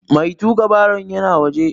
Mai tuƙa baron yana waje.